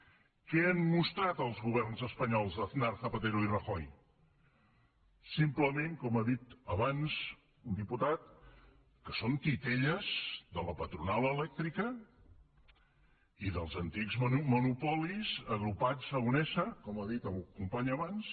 què han mostrat els governs espanyols d’aznar zapatero i rajoy simplement com ha dit abans un diputat que són titelles de la patronal elèctrica i dels antics monopolis agrupats a unesa com ha dit el company abans